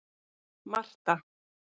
Marta